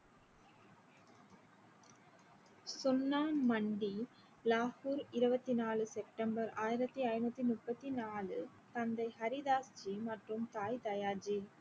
சுன்னா மண்டி லாஹூர் இருவத்தி நாலு september ஆயிரத்தி ஐநூத்தி முப்பத்தி நாலு தந்தை ஹரிதாஸ் ஜி மற்றும் தாய் தயா ஜி